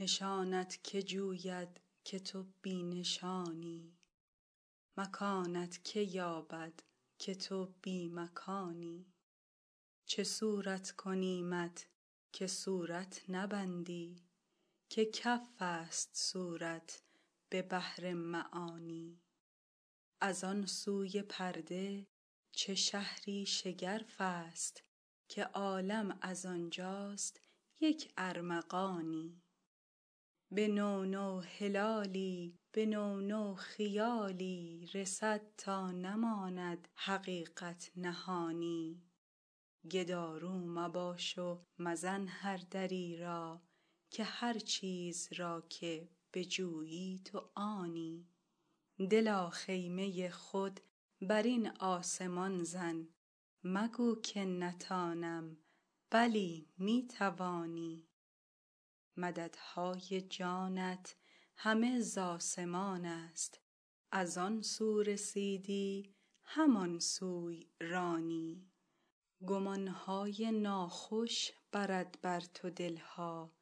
نشانت کی جوید که تو بی نشانی مکانت کی یابد که تو بی مکانی چه صورت کنیمت که صورت نبندی که کفست صورت به بحر معانی از آن سوی پرده چه شهری شگرفست که عالم از آن جاست یک ارمغانی به نو نو هلالی به نو نو خیالی رسد تا نماند حقیقت نهانی گدارو مباش و مزن هر دری را که هر چیز را که بجویی تو آنی دلا خیمه خود بر این آسمان زن مگو که نتانم بلی می توانی مددهای جانت همه ز آسمانست از آن سو رسیدی همان سوی روانی گمان های ناخوش برد بر تو دل ها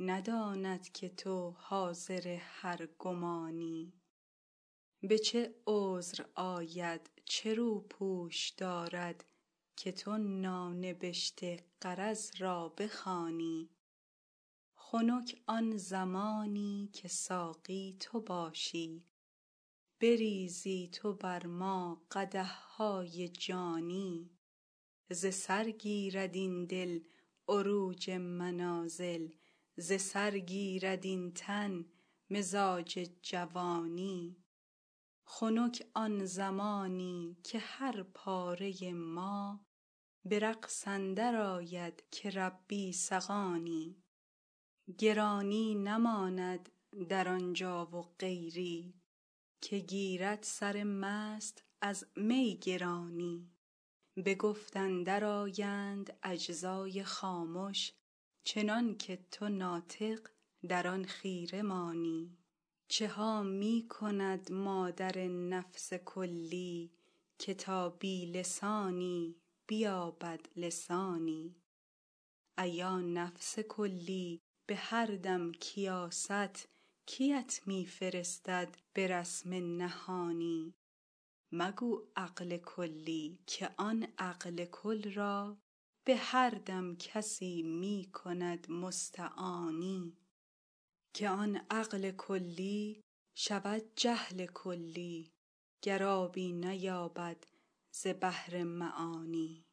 نداند که تو حاضر هر گمانی به چه عذر آید چه روپوش دارد که تو نانبشته غرض را بخوانی خنک آن زمانی که ساقی تو باشی بریزی تو بر ما قدح های جانی ز سر گیرد این دل عروج منازل ز سر گیرد این تن مزاج جوانی خنک آن زمانی که هر پاره ما به رقص اندرآید که ربی سقانی گرانی نماند در آن جا و غیری که گیرد سر مست از می گرانی به گفت اندرآیند اجزای خامش چنان که تو ناطق در آن خیره مانی چه ها می کند مادر نفس کلی که تا بی لسانی بیابد لسانی ایا نفس کلی به هر دم کیاست کیت می فرستد به رسم نهانی مگو عقل کلی که آن عقل کل را به هر دم کسی می کند مستعانی که آن عقل کلی شود جهل کلی گر آبی نیاید ز بحر عیانی